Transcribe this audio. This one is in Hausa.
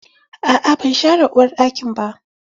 Aa ban share uwarɗakin ba.